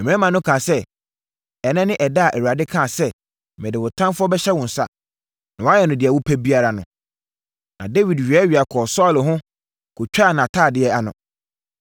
Mmarima no kaa sɛ, “Ɛnnɛ ne ɛda a Awurade kaa sɛ, ‘Mede wo ɔtamfoɔ bɛhyɛ wo nsa, na woayɛ no deɛ wopɛ biara’ no”. Na Dawid weawea kɔɔ Saulo ho, kɔtwaa nʼatadeɛ ano.